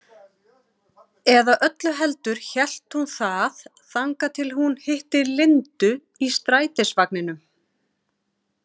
Eða öllu heldur hélt hún það þangað til hún hitti Lindu í strætisvagninum.